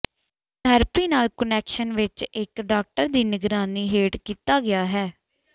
ਇਸ ਥੈਰੇਪੀ ਨਾਲ ਕੁਨੈਕਸ਼ਨ ਵਿੱਚ ਇੱਕ ਡਾਕਟਰ ਦੀ ਨਿਗਰਾਨੀ ਹੇਠ ਕੀਤਾ ਗਿਆ ਹੈ